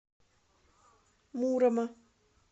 мурома